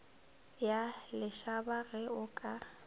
ya lešaba ge o ka